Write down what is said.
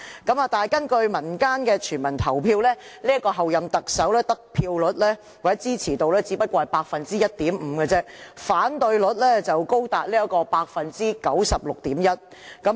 但是，根據民間的全民投票，這位候任特首的得票率或支持率只有 1.5%， 反對率卻高達 96.1%。